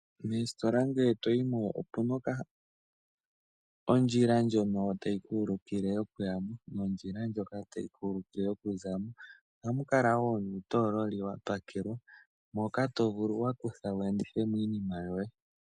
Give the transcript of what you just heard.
Moositola ngele toyi mo omu na ondjila ndjono tayi ku ulukile okuya mo nondjila ndjono tayi ku ulukile okuya mo. Ohamu kala wo nuutoololi wa pakwelwa moka to vulu wu endithe mo iinima yoye.